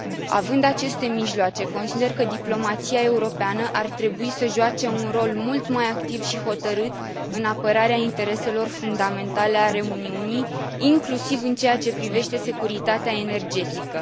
Având aceste mijloace, consider că diplomația europeană ar trebui să joace un rol mult mai activ și hotărât în apărarea intereselor fundamentale ale Uniunii, inclusiv în ceea ce privește securitatea energetică.